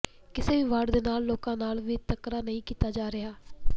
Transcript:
ਕਿਸੇ ਵੀ ਵਾਰਡ ਦੇ ਲੋਕਾਂ ਨਾਲ ਵਿਤਕਰਾ ਨਹੀਂ ਕੀਤਾ ਜਾ ਰਿਹਾ